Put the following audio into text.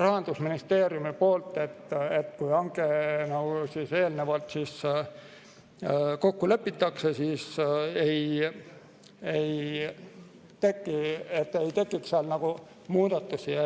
Rahandusministeeriumi poolt, et kui hange eelnevalt kokku lepitakse, siis ei tekiks seal muudatusi.